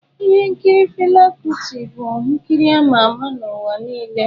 Ihe nkiri Fela Kuti bụ nkiri ama ama n'ụwa niile.